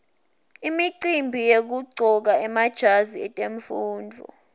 imicimbi yekuqcoka emajazi etemfundvo